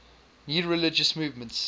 new religious movements